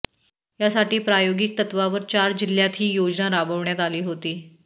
यासाठी प्रायोगिक तत्त्वावर चार जिल्ह्यांत ही योजना राबवण्यात आली होती